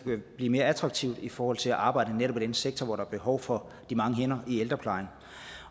kan blive mere attraktivt i forhold til at arbejde netop i den sektor hvor der er behov for de mange hænder i ældreplejen